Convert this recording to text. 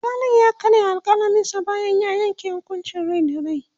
alkalin ya karya alkalaminsa bayan ya Yanke hukuncin Rai da rai